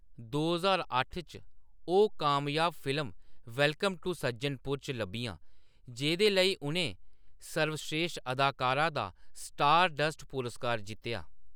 दो ज्हार अट्ठ च, ओह्‌‌ कामयाब फिल्म वेलकम टू सज्जनपुर च लब्भियां, जेह्‌दे लेई उʼनें सर्वस्रेश्ठ अदाकारा दा स्टारडस्ट पुरस्कार जित्तेआ।